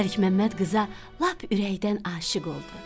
Məlikməmməd qıza lap ürəkdən aşiq oldu.